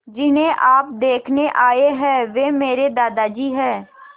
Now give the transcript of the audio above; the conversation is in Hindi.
जिन्हें आप देखने आए हैं वे मेरे दादाजी हैं